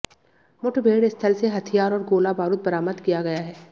मुठभेड़ स्थल से हथियार और गोला बारूद बरामद किया गया है